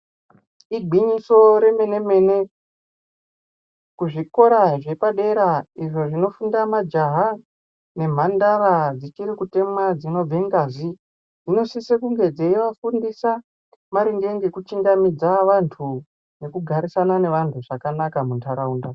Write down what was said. Igwinyiso remene mene, kuzvikora zvepadera izvo zvinofunda majaha nemhandara dzichirikutemwa dzinobve ngazi dzinosise kunge dzeivafundisa maringe nekuchingamidze vantu nekugara nevantu vakanaka mundaraunda.